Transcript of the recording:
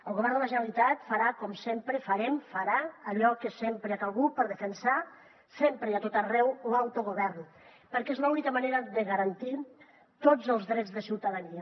el govern de la generalitat farà com sempre farem farà allò que sempre ha calgut per defensar sempre i a tot arreu l’autogovern perquè és l’única manera de garantir tots els drets de ciutadania